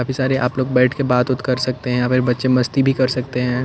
काफी सारे आप लोग बैठ के बात ओत कर सकते हैं यहाँ पर बच्चे मस्ती भी कर सकते हैं।